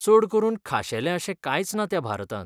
चड करून खाशेलें अशें कांयच ना त्या भारतांत!